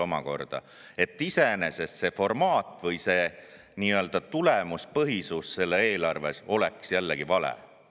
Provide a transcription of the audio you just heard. Aga jällegi, see ei tähenda veel seda, et see formaat või see nii-öelda tulemuspõhisus selles eelarves oleks iseenesest vale.